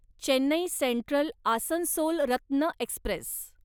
Chennai Central Asansol Ratna Express